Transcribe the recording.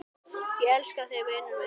Ég elska þig, vinur minn.